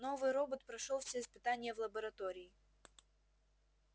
новый робот прошёл все испытания в лаборатории так у вас сергей владимирович мулатки нынче котируются по ночам